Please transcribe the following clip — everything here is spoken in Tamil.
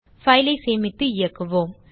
பைல் ஐ சேமித்து இயக்குவோம்